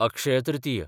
अक्षय तृतीय